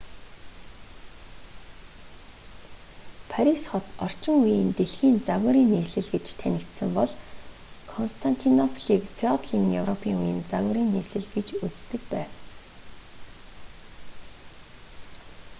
парис хот орчин үеийн дэлхийн загварын нийслэл гэж танигдсан бол константинополийг феодалын европын үеийн загварын нийслэл гэж үздэг байв